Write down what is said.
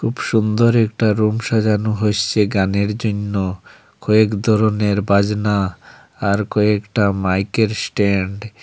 খুব সুন্দর একটা রুম সাজানো হইসে গানের জইন্য কয়েক ধরণের বাজনা আর কয়েকটা মাইকের স্ট্যান্ড --